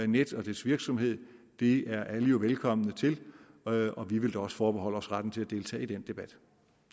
nets og dens virksomhed det er alle jo velkomne til og og vi vil da også forbeholde os retten til at deltage i den debat